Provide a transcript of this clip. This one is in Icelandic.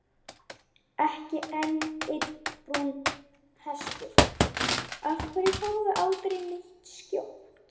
Hann var ennþá rúmlega hálfur.